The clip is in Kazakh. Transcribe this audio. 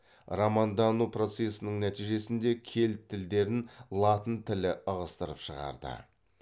романдану процесінің нәтижесінде кельт тілдерін латын тілі ығыстырып шығарды